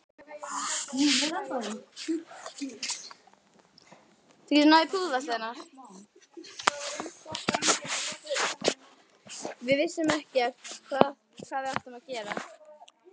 En svo áttar hún sig alltaf betur og betur.